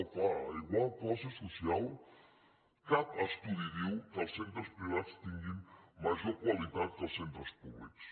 oh clar a igual classe soci·al cap estudi diu que els centres privats tinguin ma·jor qualitat que els centres públics